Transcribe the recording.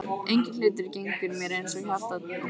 Enginn hlutur gengur mér eins til hjarta og bréfin þín.